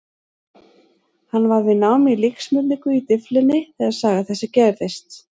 Hann var við nám í líksmurningu í Dyflinni þegar saga þessi gerðist.